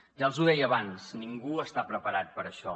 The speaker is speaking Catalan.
ja els ho deia abans ningú està preparat per a això